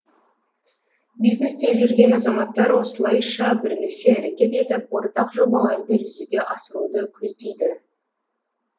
бизнесте жүрген азаматтар осылайша бірлесе әрекет етіп ортақ жобаларды жүзеге асыруды көздейді